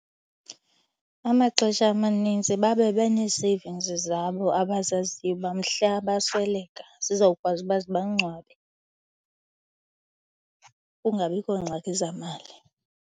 Amaxesha amanintsi babe benee-savings zabo abazaziyo uba mhla basweleka zizawukwazi uba ziba ngcwabe, kungabikho ngxaki zamali.